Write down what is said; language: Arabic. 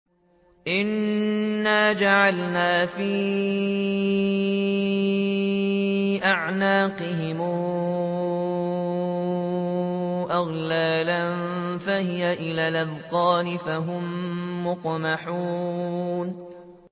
إِنَّا جَعَلْنَا فِي أَعْنَاقِهِمْ أَغْلَالًا فَهِيَ إِلَى الْأَذْقَانِ فَهُم مُّقْمَحُونَ